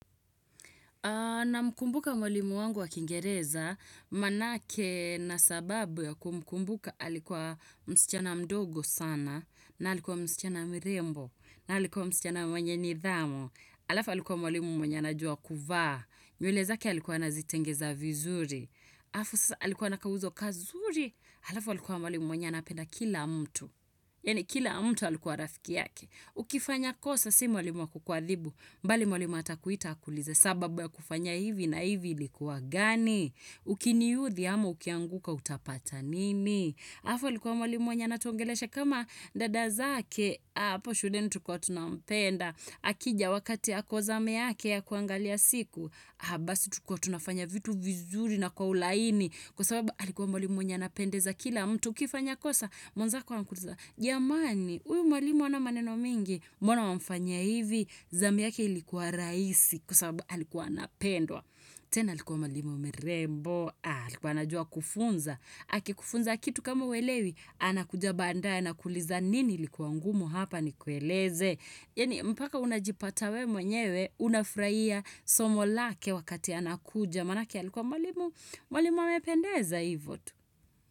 Namkumbuka mwalimu wangu wa kingereza, manake na sababu ya kumkumbuka alikuwa msichana mdogo sana, na alikuwa msichana mrembo, na alikuwa msichana mwenye nidhamu, alafu alikuwa mwalimu mwenye anajua kuvaa, nywele zake alikuwa anazitengeza vizuri, afu sasa alikuwa na kauzo kazuri, alafa alikuwa mwalimu mwenye anapenda kila mtu. Yani kila mtu alikuwa rafiki yake, ukifanya kosa si mwalimu wa kukuadhibu, bali mwalimu atakuita akuulize, sababu ya kufanya hivi na hivi ilikuwa gani? Ukiniuthi ama ukianguka utapata nini? Halafu alikuwa mwalimu mwenye anatuongelesha kama dada zake, hapo shuleni tulikua tunapenda, akija wakati ako zamu yake ya kuangalia siku, ah basi tulikuwa tunafanya vitu vizuri na kwa ulaini, kwa sababu alikuwa mwalimu mwenye anapendeza kila mtu, ukifanya kosa, mwenzako anakuuliza, jamani uyu mwalimu hana maneno mingi, mbona wamfanyia hivi? Zami yake ilikuwa rahisi kwa sababu alikuwa anapendwa tena alikuwa mwalimu mrembo, ah, alikuwa anajua kufunza. Akikufunza kitu kama huelewi anakuja baadae anakuliza nini ilikuwa ngumu hapa nikueleze? Yaani mpaka unajipata wewe mwenyewe, unafurhia somo lake wakati anakuja manake alikuwa mwalimu, Mwalimu amependeza hivo tu.